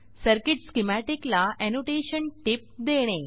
circuit schematic ला annotation टीप देणे